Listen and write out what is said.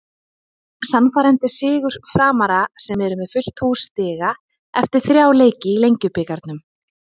Sannfærandi sigur Framara sem eru með fullt hús stiga eftir þrjá leiki í Lengjubikarnum.